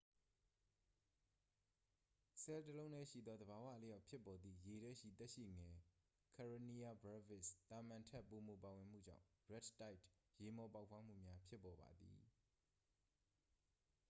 ဆဲလ်တစ်လုံးတည်းရှိသော သဘာဝအလျောက် ဖြစ်ပေါ်သည့် ရေထဲရှိ သက်ရှိငယ် karenia brevis သာမန်ထက် ပိုမိုပါဝင်မှုကြောင့် red tideရေမှော်ပေါက်ဖွားမှုများ ဖြစ်ပေါ်ပါသည်။